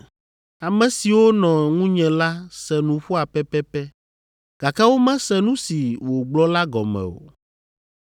Ame siwo nɔ ŋunye la se nuƒoa pɛpɛpɛ, gake womese nu si wògblɔ la gɔme o.